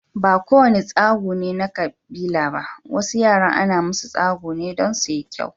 Ba ko wane tsagu ne na kabila ba, wasu yaran ana musu tsagu ne don suyi kyau.